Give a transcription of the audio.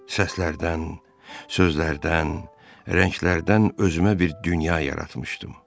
Səslərdən, sözlərdən, rənglərdən özümə bir dünya yaratmışdım.